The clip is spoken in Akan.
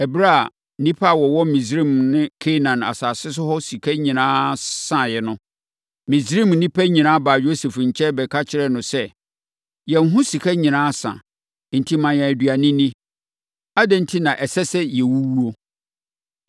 Ɛberɛ a nnipa a wɔwɔ Misraim ne Kanaan asase so ho sika nyinaa saeɛ no, Misraim nnipa nyinaa baa Yosef nkyɛn bɛka kyerɛɛ no sɛ, “Yɛn ho sika nyinaa asa, enti ma yɛn aduane nni! Adɛn enti na ɛsɛ sɛ yɛwuwu?”